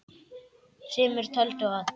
Sumir töldu að